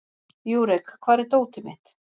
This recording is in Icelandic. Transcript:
Júrek, hvar er dótið mitt?